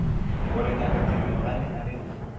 gore ngaka thedimogane a lefe